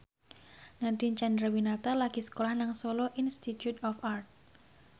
Nadine Chandrawinata lagi sekolah nang Solo Institute of Art